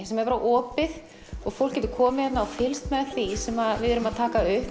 sem er opið og fólk getur komið hérna og fylgst með því sem við erum að taka upp